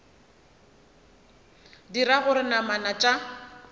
e dira gore namana tša